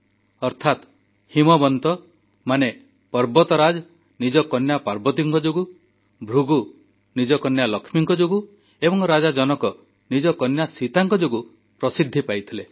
ଯାହାର ଅର୍ଥ ହିମବନ୍ତ ଅର୍ଥାତ୍ ପର୍ବତରାଜ ନିଜ କନ୍ୟା ପାର୍ବତୀଙ୍କ ଯୋଗୁଁ ଭୃଗୁ ନିଜ କନ୍ୟା ଲକ୍ଷ୍ମୀଙ୍କ ଯୋଗୁଁ ଏବଂ ରାଜା ଜନକ ନିଜ କନ୍ୟା ସୀତାଙ୍କ ଯୋଗୁଁ ପ୍ରସିଦ୍ଧି ପାଇଥିଲେ